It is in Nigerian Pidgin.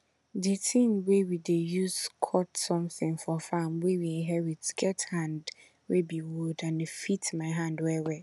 di tin wey we dey use cut somtin for farm wey we inherit get hand wey be wood and e fit my hand well well